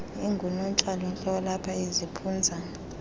ingunontlalontle walapha eziphunzana